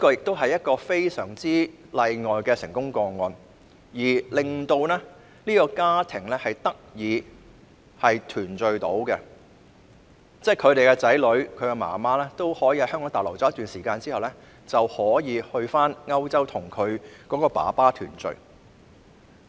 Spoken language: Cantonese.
這是一個非常例外的成功個案，讓他們一家能夠團聚，母親與子女在香港逗留了一段時間後，最終可以到歐洲跟父親團聚。